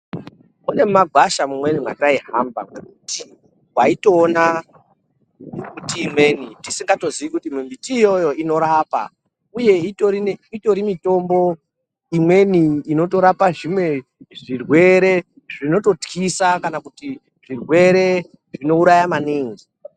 Kune magwasha mumweni mataihamba mbiti waitoona miti imweni tisikatoziyi kuti miti iyoyo inorapa uye titori mitombo inotorapa zvimwe zvirwere zvinototyisa kana kuti zvirwere zvitotyisa maningi.